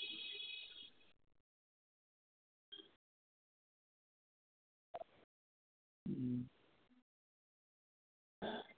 হম